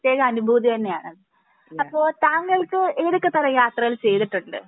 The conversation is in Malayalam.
പ്രത്യേക അനുഭൂതി തന്നെയാണ്. അപ്പൊ താങ്കൾക്ക് ഏതൊക്കെ തരം യാത്രകൾ ചെയ്തിട്ടുണ്ട്